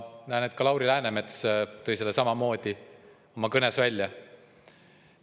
Ka Lauri Läänemets tõi selle oma kõnes välja.